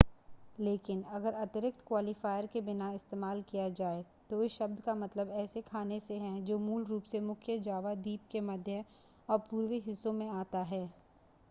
लेकिन अगर अतिरिक्त क्वालिफ़ायर के बिना इस्तेमाल किया जाए तो इस शब्द का मतलब ऐसे खाने से है जो मूल रूप से मुख्य जावा द्वीप के मध्य और पूर्वी हिस्सों से आता है